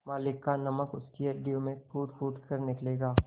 मालिक का नमक उनकी हड्डियों से फूटफूट कर निकलेगा